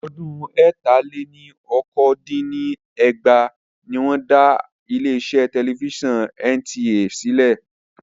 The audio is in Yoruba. Ọdún ẹ̀ta-lé-ní-okòó dín ní ẹgbàá ní wọn dá Aláṣẹ Tẹlifíṣàn tí Nàìjíríà (NTA) sílẹ̀